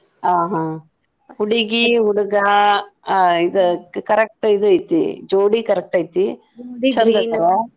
ಆ ಹಾ ಹುಡುಗಿ ಹುಡಗ ಆ ಇದ್ correct ಇದ್ ಐತಿ ಜೋಡಿ correct ಐತಿ .